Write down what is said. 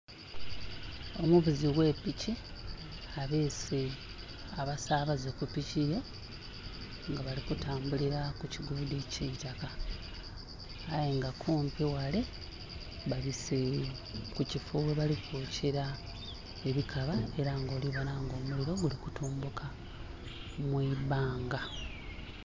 Omuvuzi oghe piki abeese abasabaze kupiki ye nga bali kutambulila kukigudho eitaka aye nga kumpi ghale babise kukifo ghebali kwokyela ebikaba era nga olibonha nga omuliro guli kutumbuka mwibbanga.